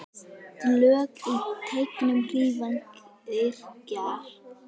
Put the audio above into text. Slök í teignum hrífan kyrjar.